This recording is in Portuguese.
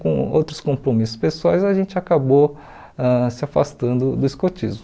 Com outros compromissos pessoais, a gente acabou ãh se afastando do escotismo.